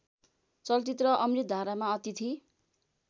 चलचित्र अमृतधारामा अतिथि